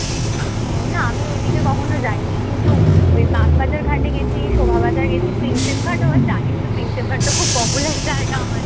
উহ না আমিও ওই দিকে কখনো যাইনি। কিন্তু ওই বাগবাজার ঘাটে গেছি, শোভা বাজার গেছি, প্রিন্সেপ ঘাটও জানিসতো প্রিন্সেপ ঘাটতো খুব popular জায়গা আমাদের।